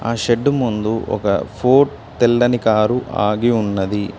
ఆ షెడ్ ముందు ఒక ఫోర్డ్ తెల్లని కారు ఆగి ఉన్నది.